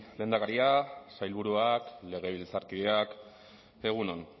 lehendakaria sailburuak legebiltzarkideak egun on